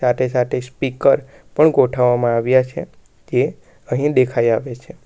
તે સાથે સ્પીકર પણ ગોઠવવામાં આવ્યા છે તે અહીં દેખાઈ આવે છે.